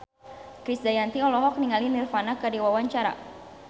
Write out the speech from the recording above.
Krisdayanti olohok ningali Nirvana keur diwawancara